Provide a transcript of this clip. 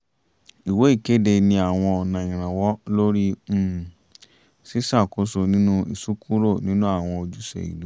ìwé ìkéde ní àwọn ọ̀nà ìrànwọ́ lórí um ṣíṣàkóso nínú ìsúnkúrò nínú àwọn ojúṣe ìlú